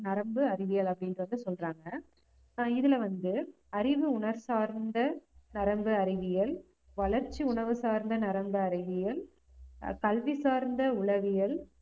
நரம்பு அறிவியல் அப்படின்றதை சொல்றாங்க ஆஹ் இதுல வந்து அறிவு உணர்வு சார்ந்த நரம்பு அறிவியல், வளர்ச்சி உணர்வு சார்ந்த நரம்பு அறிவியல், கல்வி சார்ந்த உளவியல்,